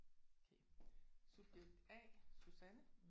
Okay subjekt A Susanne